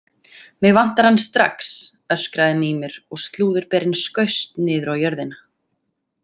Mig vantar hann strax, öskraði Mímir og slúðurberinn skaust niður á jörðina.